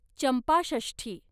Champashashthi